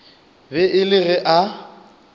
be e le ge a